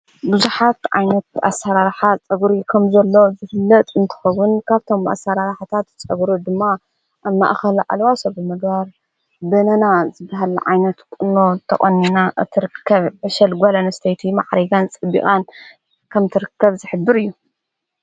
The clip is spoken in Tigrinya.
ብዙኃት ዓይነት ኣሠራራኃ ጸጕሩ ከም ዘሎ ዘህለጥ እንትኸዉን ካብቶም ኣሠራራሕታት ጸጕሩ ድማ ኣብ ማእኸል ዓልዋሶ ብምግባር በነና ዘበሃሊ ዓይነት ቕኖ ተቖኒና እትርከብ ዕሸል ጓለን ስተይቲ መዕሪካን ጽቢቓን ከም ትርከብ ዘሕብር እዩ።